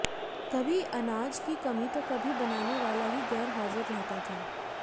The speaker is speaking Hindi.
कभी अनाज की कमी तो कभी बनाने वाला ही गैर हाजिर रहता था